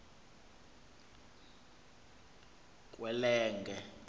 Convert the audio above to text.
kwelenge